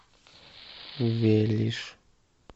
велиж